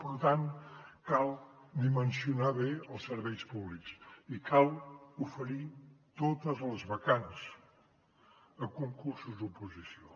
per tant cal dimensionar bé els serveis públics i cal oferir totes les vacants a concursos oposició